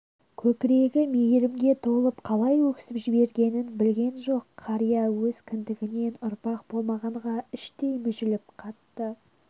көкірегі мейірімге толып қалай өксіп жібергенін білген жоқ қария өз кіндігінен ұрпақ болмағанға іштей мүжіліп қатты